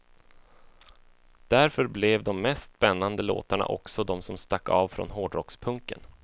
Därför blev de mest spännande låtarna också de som stack av från hårdrockspunken.